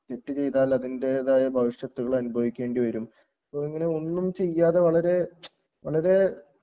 തെറ്റ് ചെയ്താൽ അതിൻറെതായ ഭവിഷ്യത്തുകൾ അനുഭവിക്കേണ്ടിവരും അപ്പോ ഇങ്ങനെ ഒന്നും ചെയ്യാതെ വളരെ വളരെ